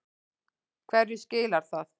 Hverju skilar það?